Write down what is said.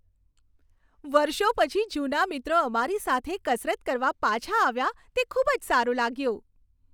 વર્ષો પછી જૂના મિત્રો અમારી સાથે કસરત કરવા પાછા આવ્યા તે ખૂબ જ સારું લાગ્યું.